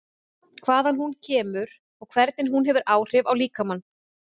Hvaðan hún kemur og hvernig hún hefur áhrif á líkamann?